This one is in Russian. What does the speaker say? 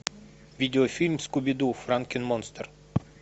видеофильм скуби ду франкен монстр